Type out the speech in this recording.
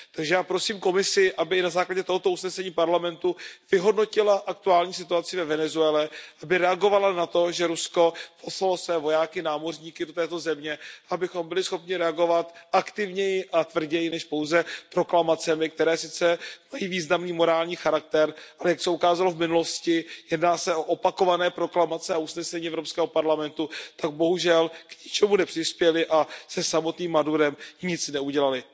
Takže já prosím Komisi, aby na základě tohoto usnesení Parlamentu vyhodnotila aktuální situaci ve Venezuele, aby reagovala na to, že Rusko poslalo své vojáky, námořníky do této země, abychom byli schopni reagovat aktivněji a tvrději, než pouze proklamacemi, které sice mají významný morální charakter, ale jak se ukázalo v minulosti, jedná se o opakované proklamace a usnesení Evropského parlamentu, které bohužel k ničemu nepřispěly a se samotným Madurem nic neudělaly.